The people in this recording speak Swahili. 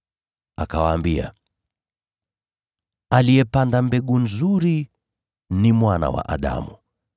Akawaambia, “Aliyepanda mbegu nzuri ni Mwana wa Adamu.